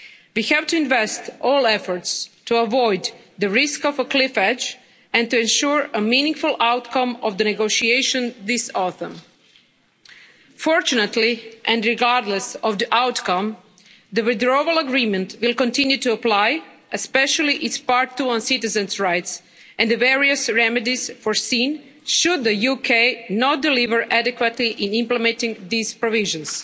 We have to invest all efforts to avoid the risk of a cliff edge, and to ensure a meaningful outcome of the negotiation this autumn. Fortunately, and regardless of the outcome, the Withdrawal Agreement will continue to apply, especially its Part 2 on citizens' rights and the various remedies foreseen should the UK not deliver adequately in implementing these provisions.